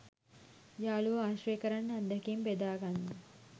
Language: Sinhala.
යාළුවෝ ආශ්‍රය කරන්න අත්දැකීම් බෙදාගන්න